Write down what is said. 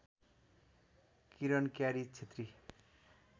Kiran Kyari Chhetri